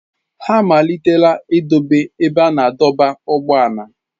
Ha amalitela itobe ebe a na-adọba ụgbọala.